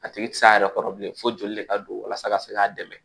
A tigi ti s'a yɛrɛ kɔrɔ bilen fo joli de ka don walasa ka se k'a dɛmɛ